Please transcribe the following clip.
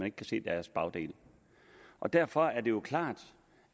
ikke kan se deres bagdel derfor er det jo klart